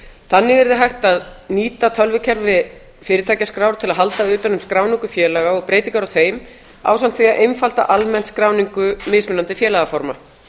þannig yrði hægt að nýta tölvukerfi fyrirtækjaskrár til að halda utan um skráningu félaga og breytingar á þeim ásamt því að einfalda almennt skráningu mismunandi félagaforma